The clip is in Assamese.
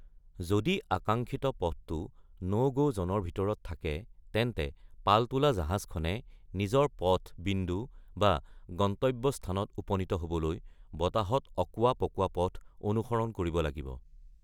যদি আকাংক্ষিত পথটো ন’-গ’ জ’নৰ ভিতৰত থাকে, তেন্তে পালতোলা জাহাজখনে নিজৰ পথ বিন্দু বা গন্তব্যস্থানত উপনীত হ’বলৈ বতাহত অকোৱা-পকোৱা পথ অনুসৰণ কৰিব লাগিব।